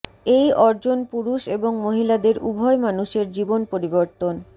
এই অর্জন পুরুষ এবং মহিলাদের উভয় মানুষের জীবন পরিবর্তন